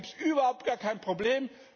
Da gibt es überhaupt gar kein Problem.